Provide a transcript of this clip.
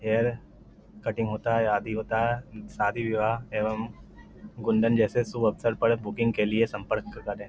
Hair cutting होता है आदि होता है। शादी विवाह एवंम मुंडन जैसे शुभ अवसर पर बुकिंग के लिए सम्पर्क करें।